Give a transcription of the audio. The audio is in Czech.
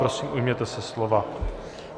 Prosím, ujměte se slova.